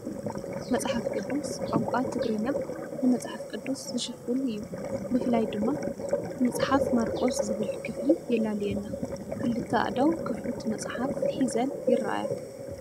መጽሓፍ ቅዱስ ቋንቋ ትግርኛ ንመጽሓፍ ቅዱስ ዝሽፍን እዩ። ብፍላይ ድማ 'መጽሓፍ ማርቆስ' ዝብል ክፍሊ የላልየና። ክልተ ኣእዳው ክፉት መጽሓፍ ሒዘን ይርኣያ።